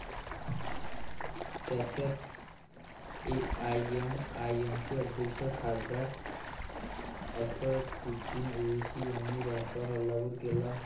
त्यातच, एआयएमआयएमचे अध्यक्ष खासदार असदुद्दीन ओवेसी यांनी भाजपावर हल्लाबोल केला आहे.